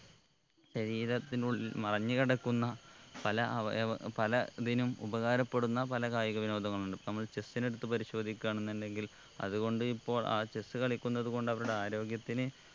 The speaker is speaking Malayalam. ശരീരത്തിനുള്ളിൽ മറിഞ്ഞ് കിടക്കുന്ന പല അവയവ പല ഇതിനും ഉപകാരപ്പെടുന്ന പല കായിക വിനോദങ്ങളുണ്ട് ഇപ്പൊ നമ്മൾ chess നെ എടുത്ത് പരിശോധിക്കാന്നുണ്ടെങ്കിൽ അത് കൊണ്ട് ഇപ്പോൾ ആ chess കളിക്കുന്നത് കൊണ്ട് അവരുടെ ആരോഗ്യത്തിന്